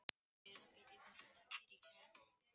Það hef ég ekki hugmynd um, veist þú það ekki?